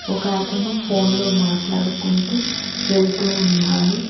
ఒక అతను ఫోన్లో మాట్లాడుకుంటూ వెళ్తూ ఉన్నారు.